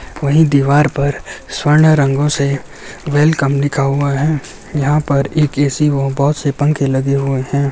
वही दीवाल पर स्वर्ण रंगों से वेलकम लिखा हुआ है यहां पर एक ए_सी और बहोत से पंखे लगे हुए है।